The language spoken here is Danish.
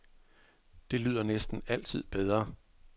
Det lyder næsten altid bedre.